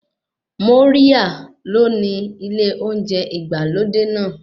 Moria ló ni ilé oúnjẹ ìgbàlódé náà.